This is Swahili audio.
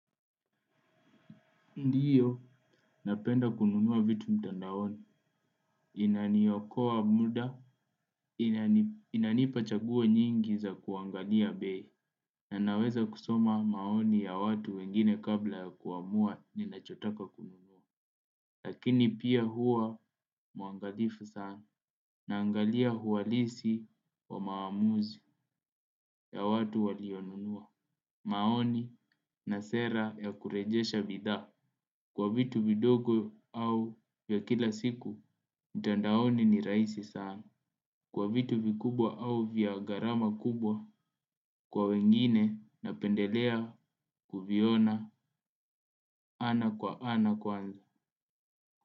Ndiyo, napenda kununua vitu mtandaoni, inaniokoa muda, inanipa chaguo nyingi za kuangalia bei, na ninaweza kusoma maoni ya watu wengine kabla ya kuamua ninachotaka kununua. Lakini pia huwa mwangalifu sana, naangalia uhalisi wa maamuzi ya watu walionunua. Maoni na sera ya kurejesha bidhaa. Kwa vitu vidogo au vya kila siku, mtandaoni ni rahisi sana. Kwa vitu vikubwa au vya gharama kubwa, kwa wengine napendelea kuviona ana kwa ana kwanza.